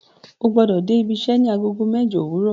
O gbọ́dọ̀ dé ibiṣẹ́ ní Agogo mẹ́jọ òwúrọ̀